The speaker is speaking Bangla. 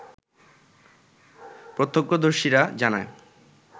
প্রত্যক্ষদর্শীরা জানায়